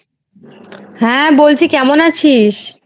হ্যাঁ বলছি কেমন আছিস?